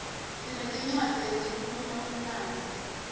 sinetincwadzi letikhuluma umlandvo